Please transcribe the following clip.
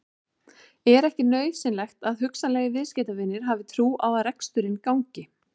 Er ekki nauðsynlegt að hugsanlegir viðskiptavinir hafi trú á að reksturinn gangi?